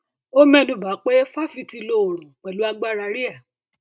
ó mẹnu ba pé fáfitì lo oòrùn pẹlú agbára rea